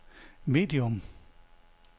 medium